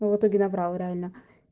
в итоге наврал реально